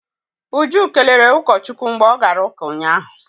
Uju kelere ụkọchukwu mgbe ọ gara ụka ụnyahụ.